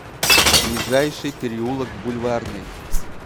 ближайший переулок бульварный